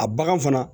A bagan fana